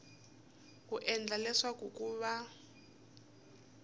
ku endlela leswaku ku va